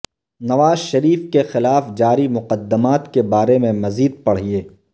نواز شریف کے خلاف جاری مقدمات کے بارے میں مزید پڑھیے